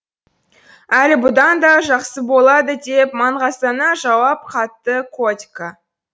әлі бұдан да жақсы болады деп маңғаздана жауап қатты котька